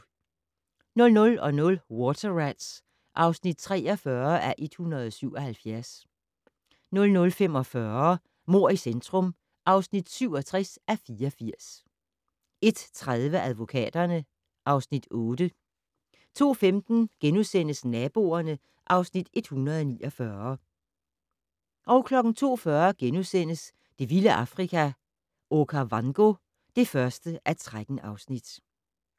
00:00: Water Rats (43:177) 00:45: Mord i centrum (67:84) 01:30: Advokaterne (Afs. 8) 02:15: Naboerne (Afs. 149)* 02:40: Det vilde Afrika - Okavango (1:13)*